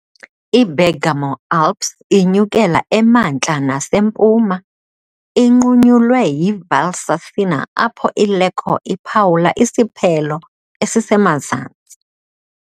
IBergamo Alps inyukela emantla nasempuma, inqunyulwe yiValsassina apho iLecco iphawula isiphelo esisemazantsi.